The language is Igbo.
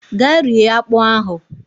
Gaa rie akpụ ahụ!